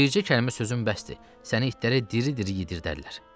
Bircə kəlmə sözün bəsdir, səni itlərə diri-diri yedirdərlər.